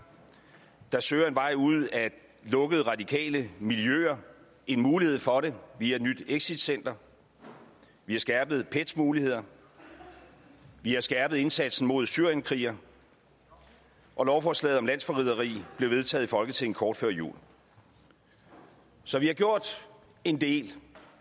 der søger en vej ud af lukkede radikale miljøer en mulighed for det via et nyt exitcenter vi har skærpet pets muligheder vi har skærpet indsatsen mod syrienskrigere og lovforslaget om landsforræderi blev vedtaget i folketinget kort før jul så vi har gjort en del